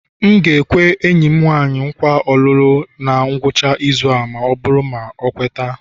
M ga-ekwe enyi m nwanyị nkwa olulu na ngwụcha izu ma ọ bụrụ na ọ kweta